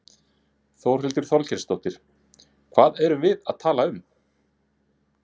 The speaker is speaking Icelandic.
Þórhildur Þorkelsdóttir: Hvað erum við þá að tala um?